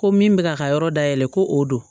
Ko min bɛ k'a ka yɔrɔ dayɛlɛ ko o don